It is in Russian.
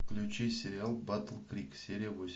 включи сериал батл крик серия восемь